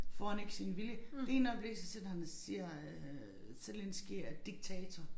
Får han ikke sin vilje det ene øjeblik så sidder han og siger øh Zelenskyj er diktator